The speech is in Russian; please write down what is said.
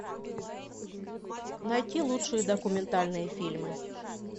найти лучшие документальные фильмы